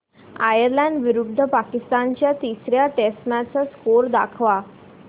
Ireland विरुद्ध पाकिस्तान च्या तिसर्या टेस्ट मॅच चा स्कोअर दाखवा